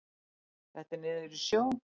Þetta er niður í sjó.